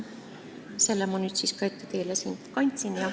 Selle kõik ma nüüd siis ka teile siin ette kandsin.